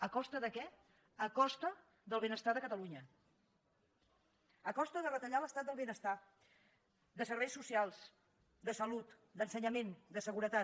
a costa de què a costa del benestar de catalunya a costa de retallar l’estat del benestar de serveis socials de salut d’ensenyament de seguretat